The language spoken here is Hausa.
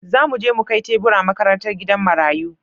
Za mu je mu kai tebura makarantar gidan marayu.